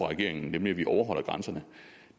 regeringen nemlig at vi overholder grænserne